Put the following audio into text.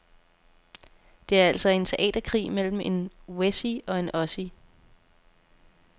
Det er altså en teaterkrig mellem en wessie og en ossie.